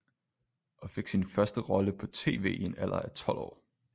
Og fik sin første rolle på tv i en alder af tolv år